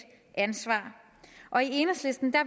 ansvar og i enhedslisten